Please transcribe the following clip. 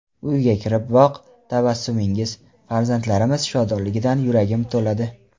Uyga kiriboq tabassumingiz, farzandlarimiz shodonligidan yuragim to‘ladi.